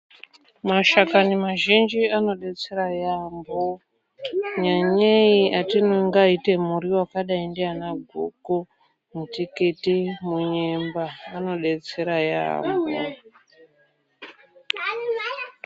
Mashakani mazhinji anodetsera yaampho, nyanyei atinongaite muriwo, akadai ndianaguku, mutikiti munyemba, anodetsera yaampho.